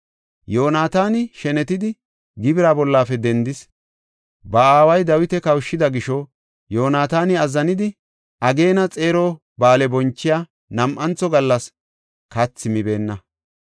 Yoonataani shenetidi gibira bollafe dendis; ba aaway, Dawita kawushida gisho Yoonataani azzanidi, ageena xeero ba7aale bonchiya nam7antho gallas kathi mibeenna.